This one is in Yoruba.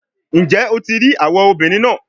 Njẹ o ti rii awọ obinrin naa?